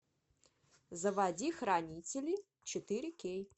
заводи хранители четыре кей